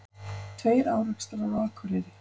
Tveir árekstrar á Akureyri